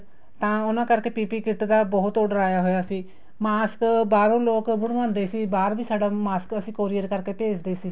ਤਾਂ ਉਹਨਾ ਕਰਕੇ PP kit ਦਾ ਬਹੁਤ order ਆਇਆ ਹੋਇਆ ਸੀ mask ਬਹਾਰੋ ਲੋਕ ਬਣਵਾਉਦੇ ਸੀ ਬਹਾਰ ਵੀ ਸਾਡਾ mask ਅਸੀਂ courier ਕਰਕੇ ਭੇਜਦੇ ਸੀ